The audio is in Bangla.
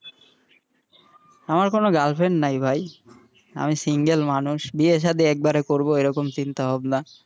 আমার কোনো girlfriend নাই ভাই আমি single মানুষ, বিয়ে সাদি একবারে করবো এই রকম চিন্তা ভাবনা,